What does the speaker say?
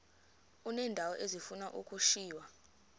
uneendawo ezifuna ukushiywa